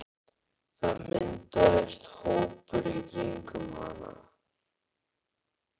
Það myndaðist hópur í kringum hann.